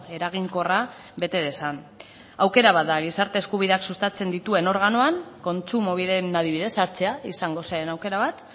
eraginkorra bete dezan aukera bat da gizarte eskubideak sustatzen dituen organoan kontsumobiden adibidez hartzea izango zen aukera bat